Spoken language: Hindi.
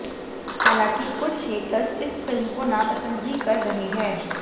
हालांकि कुछ हेटर्स इस फिल्म को नापसंद भी कर रहे हैं